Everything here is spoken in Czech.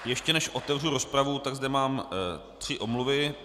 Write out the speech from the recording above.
Ještě než otevřu rozpravu, tak zde mám tři omluvy.